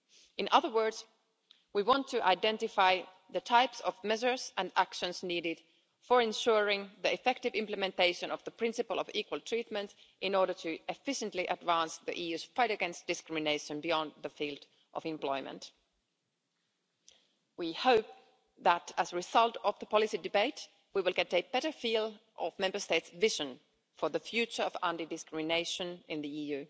In other words, we want to identify the types of measures and actions needed for ensuring the effective implementation of the principle of equal treatment in order to efficiently advance the EU's fight against discrimination beyond the field of employment. We hope that, as a result of the policy debate, we will get a better feel of Member States' vision for the future of anti discrimination in the EU.